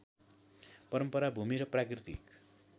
परम्परा भूमि र प्राकृतिक